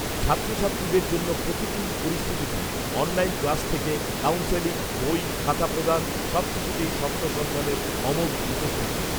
ছাত্রছাত্রীদের জন্য প্রতিকূল পরিস্থিতিতে অনলাইন ক্লাস থেকে, কাউন্সেলিং, বই, খাতা প্রদান, সব কিছুতেই স্বপ্নসন্ধানের অমোঘ উপস্থিতি